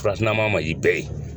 man yi bɛɛ ye.